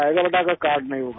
بیٹا اگر کارڈ نہیں ہوگا